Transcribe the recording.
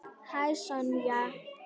Hæ, Sonja.